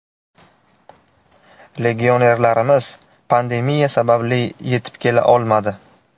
Legionerlarimiz pandemiya sababli yetib kela olmadi.